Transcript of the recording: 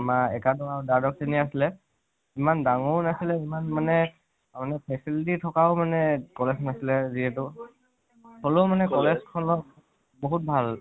আমাৰ একাদশ আৰু দ্বাদশ শ্ৰণী হে আছিলে । ইমান ডাঙৰো নাছিলে আৰু ইমান মানে facility থকাও college নাছিলে যিহেতু । হলেও মানে college খনত বহুত ভাল